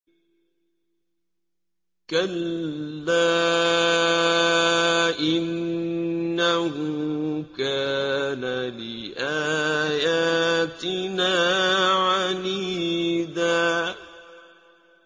كَلَّا ۖ إِنَّهُ كَانَ لِآيَاتِنَا عَنِيدًا